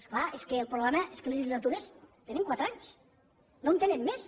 és clar és que el problema és que les legislatures tenen quatre anys no en tenen més